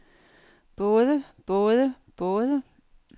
både både både